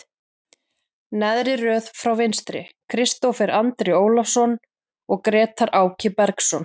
Neðri röð frá vinstri, Kristófer Andri Ólason og Grétar Áki Bergsson.